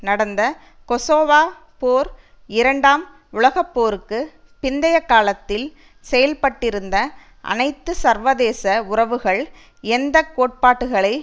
நடந்த கொசோவாப் போர் இரண்டாம் உலக போருக்கு பிந்தைய காலத்தில் செயல்பட்டிருந்த அனைத்து சர்வதேச உறவுகள் எந்த கோட்பாட்டுகளை